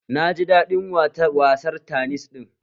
Na ji daɗin wasar tanis ɗin